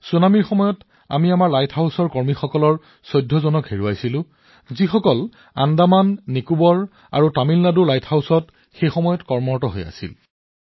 ছুনামিৰ সময়ত আমি আমাৰ লাইট হাউচৰ ১৪ জন কৰ্মচাৰী হেৰুৱাইছিলো যিয়ে আন্দামান নিকোবাৰ আৰু তামিলনাডুৰ লাইট হাউচত কৰ্মৰত হৈ আছিল